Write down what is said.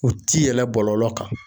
U ti yɛlɛ bɔlɔlɔ kan